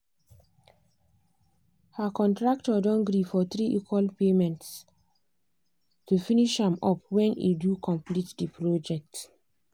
her contractor don gree for three equal paymentsto finish am up when e do complete the project.